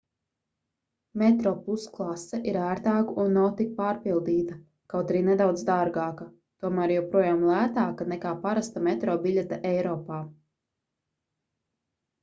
metroplus klase ir ērtāka un nav tik pārpildīta kaut arī nedaudz dārgāka tomēr joprojām lētāka nekā parasta metro biļete eiropā